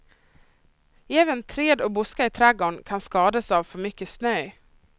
Även träd och buskar i trädgården kan skadadas av för mycket snö.